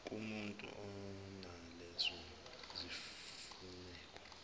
kumutu onalezo zimfuneko